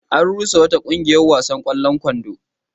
An rusa wata ƙungiyar wasan ƙwallon kwando.